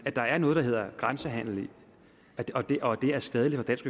at der er noget der hedder grænsehandel og at det er skadeligt